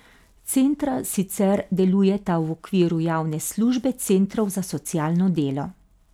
Centra sicer delujeta v okviru javne službe centrov za socialno delo.